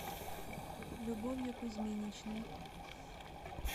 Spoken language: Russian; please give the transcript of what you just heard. любовью кузьминичной